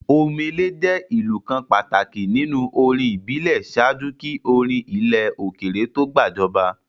Omele jẹ́ ìlù kan pàtàkì nínú orin ìbílẹ̀ ṣáájú kí orin ilẹ̀ òkèèrè to gbàjọba.